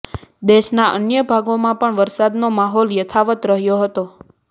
દેશના અન્ય ભાગોમાં પણ વરસાદનો માહોલ યથાવત્ રહ્યો હતો